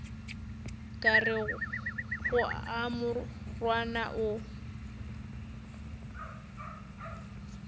ka rego a morwana o